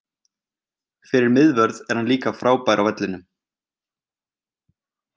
Fyrir miðvörð er hann líka frábær á vellinum.